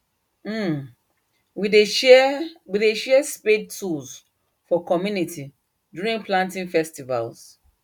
um we dey share we dey share spade tools for community during planting festivals